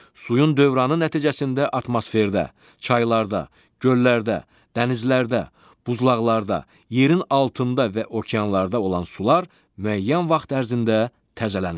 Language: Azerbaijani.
Suyun dövranı nəticəsində atmosferdə, çaylarda, göllərdə, dənizlərdə, buzlaqlarda, yerin altında və okeanlarda olan sular müəyyən vaxt ərzində təzələnir.